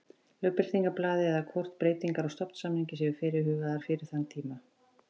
Lögbirtingablaði eða hvort breytingar á stofnsamningi séu fyrirhugaðar fyrir þann tíma.